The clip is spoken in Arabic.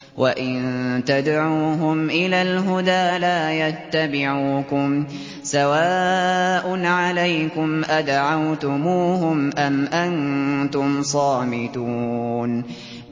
وَإِن تَدْعُوهُمْ إِلَى الْهُدَىٰ لَا يَتَّبِعُوكُمْ ۚ سَوَاءٌ عَلَيْكُمْ أَدَعَوْتُمُوهُمْ أَمْ أَنتُمْ صَامِتُونَ